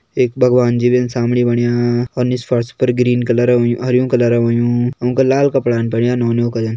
एक भगवान जी भीन सामणी बण्या और निस फर्स पर ग्रीन कलर होयुं हरयूं कलर होयुं उंका लाल कपड़ान पैरयां नौनियो का जन।